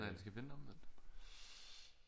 Nej den skal vende omvendt